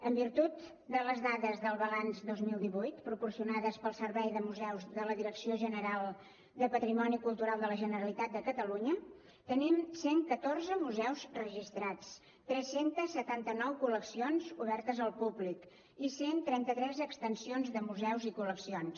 en virtut de les dades del balanç dos mil divuit proporcionades pel servei de museus de la direcció general de patrimoni cultural de la generalitat de catalunya tenim cent i catorze museus registrats tres cents i setanta nou col·leccions obertes al públic i cent i trenta tres extensions de museus i col·leccions